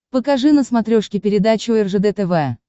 покажи на смотрешке передачу ржд тв